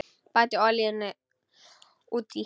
Bætið olíunni út í.